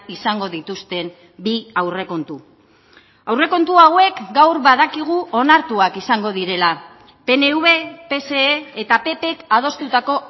izango dituzten bi aurrekontu aurrekontu hauek gaur badakigu onartuak izango direla pnv pse eta ppk adostutako